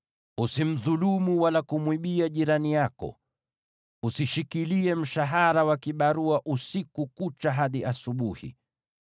“ ‘Usimdhulumu wala kumwibia jirani yako. “ ‘Usishikilie mshahara wa kibarua usiku kucha hadi asubuhi.